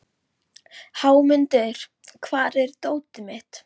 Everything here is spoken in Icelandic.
Leyfðu mér að stjana svolítið við þig, litla mín.